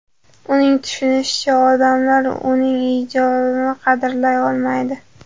Uning tushunishicha, odamlar uning ijodini qadrlay olmaydi.